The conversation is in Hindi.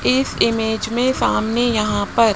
इस इमेज में सामने यहां पर--